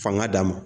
Fanga d'a ma